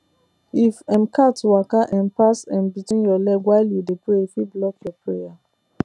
if um cat waka um pass um between your leg while you dey pray e fit block your prayer